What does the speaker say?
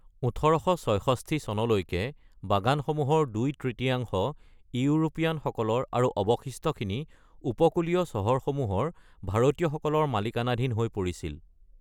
১৮৬৬ চনলৈকে বাগানসমূহৰ দুই তৃতীয়াংশ ইউৰোপীয়ানসকলৰ আৰু অবশিষ্টখিনি উপকূলীয় চহৰসমূহৰ ভাৰতীয়সকলৰ মালিকানাধীন হৈ পৰিছিল।